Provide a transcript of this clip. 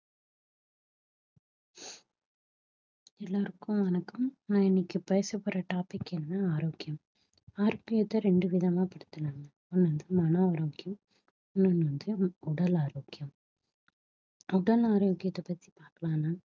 எல்லாருக்கும் வணக்கம் நான் இன்னைக்கு பேச போற topic என்னன்னா ஆரோக்கியம் ஆரோக்கியத்தை ரெண்டு விதமா படுத்தலாம் ஒண்ணு வந்து மன ஆரோக்கியம் இன்னொன்னு வந்து உ~ உடல் ஆரோக்கியம் உடல் ஆரோக்கியத்தை பத்தி பார்க்கலாம்னா